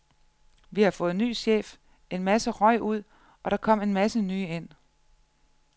Vi fået ny chef, en masse røg ud, og der kom en masse nye ind.